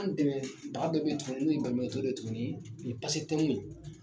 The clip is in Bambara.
Dɛmɛ baga dɔ bɛ yen tuguni n'o ye tuguni o ye ye